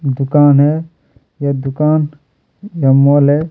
दुकान है वह दुकान बंगाल है।